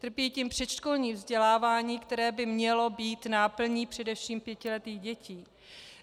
Trpí tím předškolní vzdělávání, které by mělo být náplní především pětiletých dětí.